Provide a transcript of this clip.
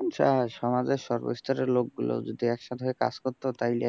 আচ্ছা সমাজের সর্ব স্তরের লোক গুলো যদি একসাথে কাজ করতো তাইলে